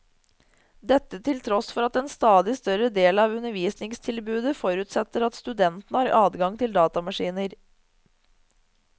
Dette til tross for at en stadig større del av undervisningstilbudet forutsetter at studentene har adgang til datamaskiner.